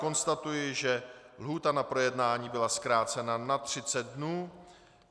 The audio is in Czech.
Konstatuji, že lhůta na projednání byla zkrácena na 30 dnů.